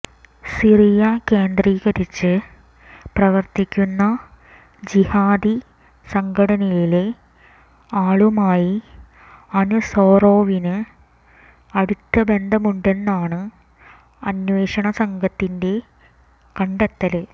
Syria കേന്ദ്രീകരിച്ച് പ്രവര്ത്തിക്കുന്ന ജിഹാദി സംഘടനയിലെ ആളുമായി അന്സോറോവിന് അടുത്ത ബന്ധമുണ്ടെന്നാണ് അന്വേഷണ സംഘത്തിന്റെ കണ്ടെത്തല്